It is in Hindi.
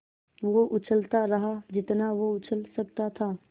वो उछलता रहा जितना वो उछल सकता था